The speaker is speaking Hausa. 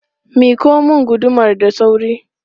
Miƙo mun gudumar da sauri!